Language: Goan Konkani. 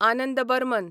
आनंद बर्मन